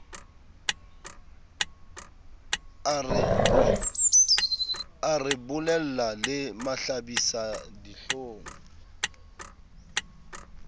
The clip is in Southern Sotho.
a re bolella le mahlabisadihlong